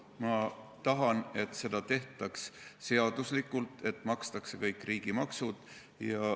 Ma tahan, et seda tehtaks seaduslikult, et makstaks ära kõik riigimaksud.